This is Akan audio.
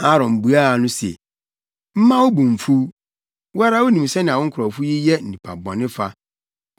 Aaron buaa no se, “Mma wo bo mmfuw. Wo ara wunim sɛnea wo nkurɔfo yi yɛ nnipa bɔne fa.